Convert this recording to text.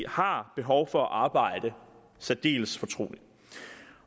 har behov for at arbejde særdeles fortroligt